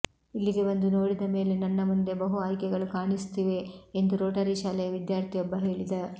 ಇಲ್ಲಿಗೆ ಬಂದು ನೋಡಿದ ಮೇಲೆ ನನ್ನ ಮುಂದೆ ಬಹು ಆಯ್ಕೆಗಳು ಕಾಣಿಸುತ್ತಿವೆ ಎಂದು ರೋಟರಿ ಶಾಲೆಯ ವಿದ್ಯಾರ್ಥಿಯೊಬ್ಬ ಹೇಳಿದ